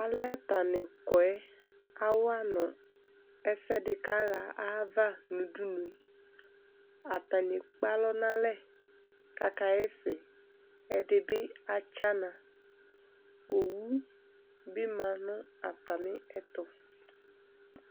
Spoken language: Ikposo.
alɛ atani kɔ yɛ awa no ɛsɛ di ka ɣa ava no udunu atani ekpe alɔ no alɛ ko aka ɣa ɛsɛ ɛdi bi atsana owu bi ma no atamiɛto